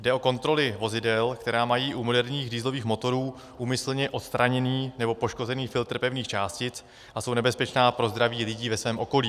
Jde o kontroly vozidel, která mají u moderních dieselových motorů úmyslně odstraněný nebo poškozený filtr pevných částic a jsou nebezpečná pro zdraví lidí ve svém okolí.